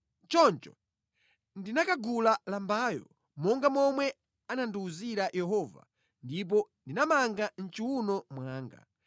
Choncho ndinakagula lambayo, monga momwe anandiwuzira Yehova, ndipo ndinamanga mʼchiwuno mwanga.